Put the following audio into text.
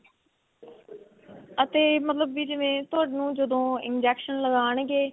ਅਤੇ ਮਤਲਬ ਵੀ ਜਿਵੇਂ ਤੁਹਾਨੂੰ ਜਦੋਂ injection ਲਗਾਣਗੇ